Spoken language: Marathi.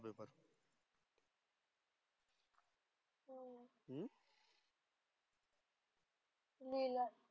लिहिलाय.